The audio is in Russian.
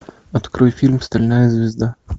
открой фильм стальная звезда